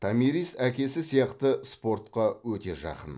томирис әкесі сияқты спортқа өте жақын